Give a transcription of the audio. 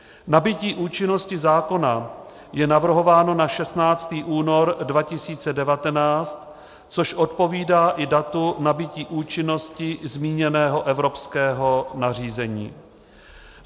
Nabytí účinnosti zákona je navrhováno na 16. únor 2019, což odpovídá i datu nabytí účinnosti zmíněného evropského nařízení.